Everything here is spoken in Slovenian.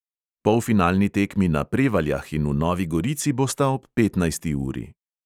Polfinalni tekmi na prevaljah in v novi gorici bosta ob petnajsti uri.